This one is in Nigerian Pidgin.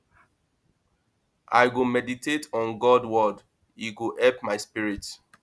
i go meditate on god word e go help my spirit